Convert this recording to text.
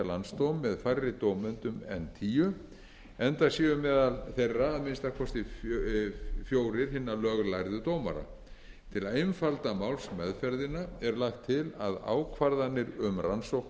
með færri dómendum en tíu enda séu meðal þeirra að minnsta kosti fjórir hinna löglærðu dómara til a einfalda málsmeðferðina er lagt til að ákvarðanir um rannsóknaraðgerðir og